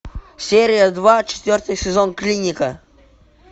серия два четвертый сезон клиника